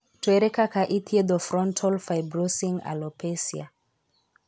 To ere kaka ithietho frontal fibrosing alopecia ?